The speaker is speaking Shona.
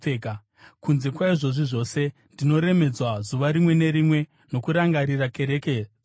Kunze kwaizvozvi zvose, ndinoremedzwa zuva rimwe nerimwe nokurangarira kereke dzose.